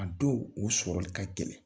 A dɔw o sɔrɔli ka gɛlɛn.